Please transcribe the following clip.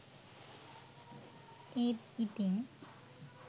ඒත් ඉතිං